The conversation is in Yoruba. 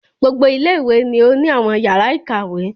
Gbogbo ilé ìwé ni o ni àwọn yàrá ìkàwé.